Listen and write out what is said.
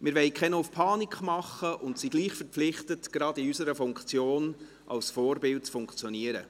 Wir wollen nicht auf Panik machen, sind aber dennoch gehalten, insbesondere in unserer Funktion, als Vorbilder zu funktionieren.